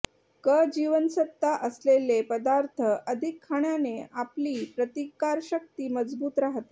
क जीवनसत्त्व असलेले पदार्थ अधिक खाण्याने आपली प्रतिकारशक्ती मजबूत राहते